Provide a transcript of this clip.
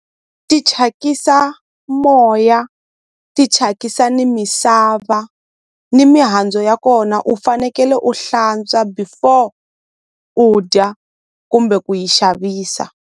Ti thyakisa moya ti thyakisa ni misava ni mihandzu ya kona u fanekele u hlantswa before u dya kumbe ku yi xavisa.